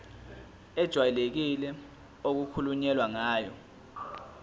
ejwayelekile okukhulunywe ngayo